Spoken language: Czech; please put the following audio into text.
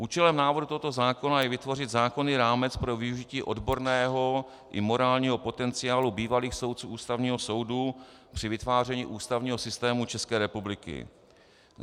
Účelem návrhu tohoto zákona je vytvořit zákonný rámec pro využití odborného i morálního potenciálu bývalých soudců Ústavního soudu při vytváření ústavního systému České republiky.